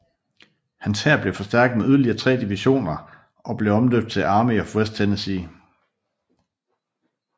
Hans hær blev forstærket med yderligere tre divisioner og blev omdøbt til Army of West Tennessee